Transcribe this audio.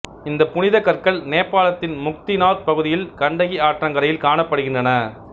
இந்தப் புனிதக் கற்கள் நேபாளத்தின் முக்திநாத் பகுதியில் கண்டகி ஆற்றங்கரைகளில் காணப்படுகின்றன